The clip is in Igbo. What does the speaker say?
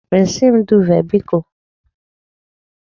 Resi m duuve biko!